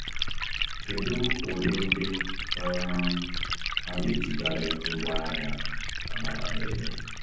Kedu ụdị ndị um a na-ejikarị ngwaahịa taba taba eme?